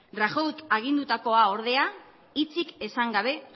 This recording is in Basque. rajoyk agindutakoa ordea hitzik esan gabe